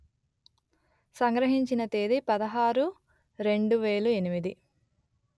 సంగ్రహించిన తేదీ పదహారు రెండు వెలు ఎనిమిది